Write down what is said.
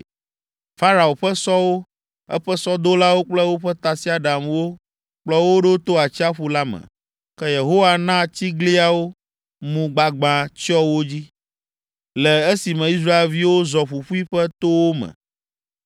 Farao ƒe sɔwo, eƒe sɔdolawo kple woƒe tasiaɖamwo kplɔ wo ɖo to atsiaƒu la me. Ke Yehowa na tsigliawo mu gbagbã tsyɔ wo dzi, le esime Israelviwo zɔ ƒuƒuiƒe to wo me.